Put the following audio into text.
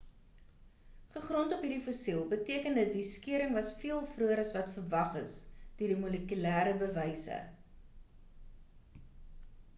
gegrond of hierdie fossiel beteken dit die skeuring was veel vroeër as wat verwag is deur die molekulêre bewyse